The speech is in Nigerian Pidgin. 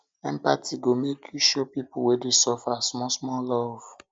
empathy go make you show pipu wey dey suffer smallsmall love